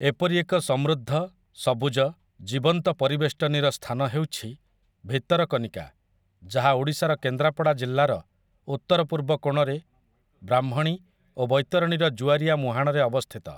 ଏପରି ଏକ ସମୃଦ୍ଧ, ସବୁଜ, ଜୀବନ୍ତ ପରିବେଷ୍ଟନୀର ସ୍ଥାନ ହେଉଛି ଭିତରକନିକା ଯାହା ଓଡ଼ିଶାର କେନ୍ଦ୍ରାପଡ଼ା ଜିଲ୍ଲାର ଉତ୍ତରପୂର୍ବ କୋଣରେ ବ୍ରାହ୍ମଣୀ ଓ ବୈତରଣୀର ଜୁଆରିଆ ମୁହାଣରେ ଅବସ୍ଥିତ ।